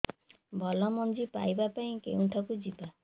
ଭଲ ମଞ୍ଜି ପାଇବା ପାଇଁ କେଉଁଠାକୁ ଯିବା